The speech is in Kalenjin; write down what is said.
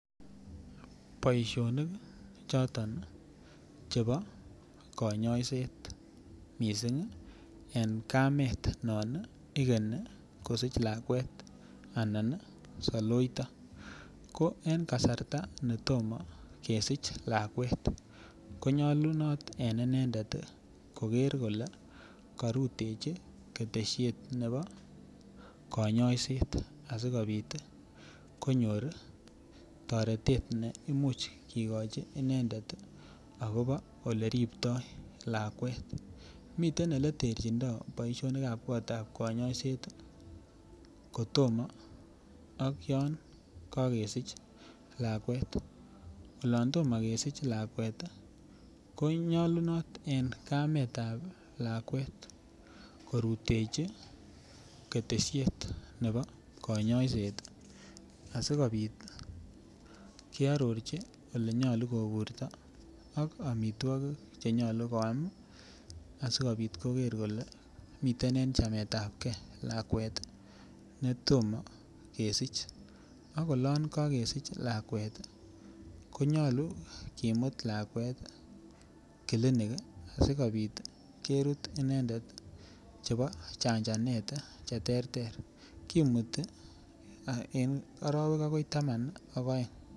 Boishonik choton chebo kanyoiset mising' en kamet non ikeni kosich lakwet anan saloita ko en kasarta netomo kesich lakwet konyolunot en inendet koker kole karutechi keteshet nebo kayoishet asikobit konyor toretet ne imuch kekochi inendet akobo ole riptoi lakwet miten ole terchindoi boishonikab kotab kayoiset kotomo ak yon kakesich lakwet olon tomo kesich lakwet ko nyolunot en kametab lakwet korutechi keteshiet nebo kanyaiset asikobit kearorchi ole nyolu koburto ak amitwokik chenyolu koam asikobit koker kole miten en chametab gei lakwet netomo kesich ak olon kakesich lakwet konyolu kimut lakwet kilinik sikobit kerut inendet chebo chanjanet cheterter kimuti akoi oroek taman ak oeng'